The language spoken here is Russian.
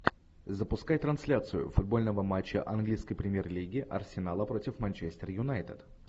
запускай трансляцию футбольного матча английской премьер лиги арсенала против манчестер юнайтед